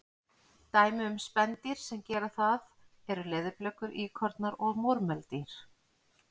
Dæmi um spendýr sem gera það eru leðurblökur, íkornar og múrmeldýr.